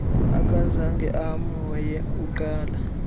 akazange amhoye uqala